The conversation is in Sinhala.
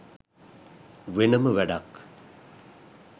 වෙනම වැඩක්.